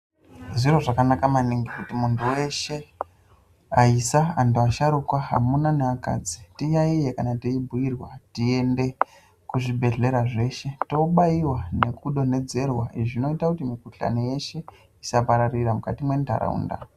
Zviro zvakanaka maningi kuti muntu weshe aisa antu asharukwa amuna ne akadzi tiyaiye kana tei bhuyirwa tiende ku zvibhedhlera zveshe to baiwa neku donhedzerwa zvinoita kuti mu kuhlani yeshe isa pararira mukati mwe ndaraunda.